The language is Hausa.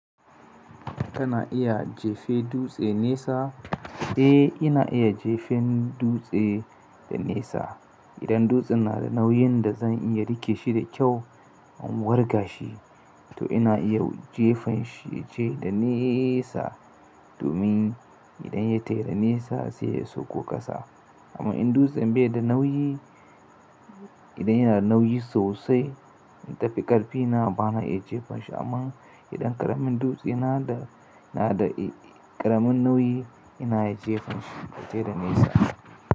Kana iya jefen dutse nesa? Eh, ina iya jefen dutse da nesa. Idan dutsen na da nauyin da zan iya rike shi da kyau in wurgashi, to ina iya jefanshi yaje da nesa domin idan ya tai da nesa sai ya sakko ƙasa. Amma in dutsen bai da nauyi, idan yana da nauyi sosai in tafi ƙarfi ina bana iya jefanshi. Amma idan ƙaramin dutse yana da ƙaramin nauyi ina iya jefanshi ya tai da nesa.